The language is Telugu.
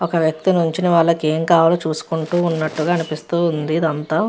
ఒక వ్యక్తి నించొని వాళ్ళకి ఏం కావాలో చూసుకుంటున్నట్టుగా అనిపిస్తూ ఉంది. ఇది అంతా --